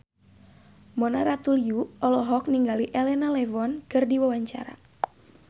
Mona Ratuliu olohok ningali Elena Levon keur diwawancara